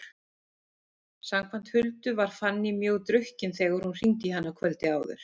Samkvæmt Huldu var Fanný mjög drukkin þegar hún hringdi í hana kvöldið áður.